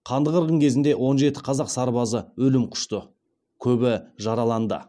қанды қырғын кезінде он жеті қазақ сарбазы өлім құшты көбі жараланды